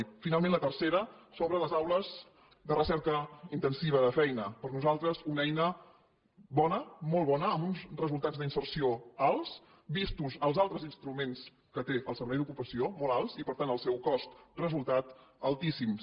i finalment la tercera sobre les aules de recerca intensiva de feina per nosaltres una eina bona molt bona amb uns resultats d’inserció alts vistos els altres instruments que té el servei d’ocupació molt alts i per tant pel seu cost resultat altíssims